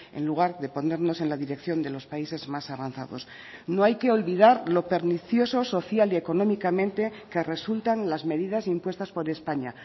en lugar de ponernos en la dirección de los países más avanzados no hay que olvidar lo pernicioso social y económicamente que resultan las medidas impuestas por españa